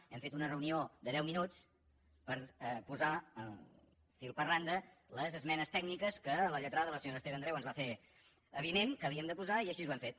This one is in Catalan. hem fet una reunió de deu minuts per posar fil per randa les esmenes tècniques que la lle·trada la senyora esther andreu ens va fer avinent que havíem de posar i així ho hem fet